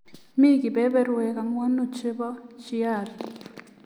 Mi kebeberwek ang'wan che bo Chiari.